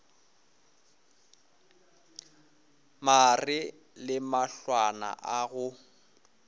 mare le mahlwana a go